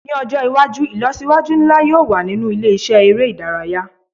Ni ọjọ iwaju ilọsiwaju nla yoo wa ninu ile-iṣẹ ere idaraya